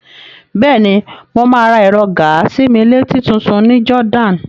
Bẹ́ẹ̀ni, mo máa ra ẹ̀rọ gàa-sí-mí-létí tutun ní Jordan.